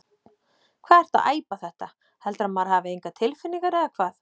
Hvað ertu að æpa þetta. heldurðu að maður hafi engar tilfinningar eða hvað?